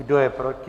Kdo je proti?